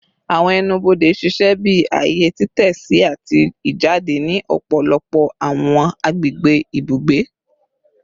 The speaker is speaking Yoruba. Awọn ẹnu-bode ṣiṣẹ bi aaye titẹsi ati ijade ni ọpọlọpọ awọn agbegbe ibugbe